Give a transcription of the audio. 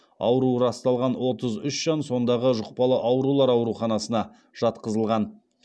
ауруы расталған отыз үш жан сондағы жұқпалы аурулар аурухасына жатқызылған